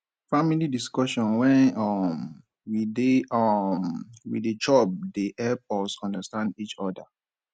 family discussion wen um we dey um we dey chop dey help us understand each oda